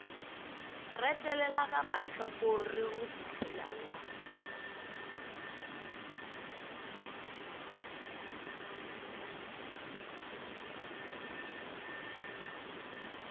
retelelwa ga mahlakore go fihlelela